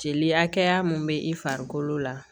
Jeli hakɛya mun be i farikolo la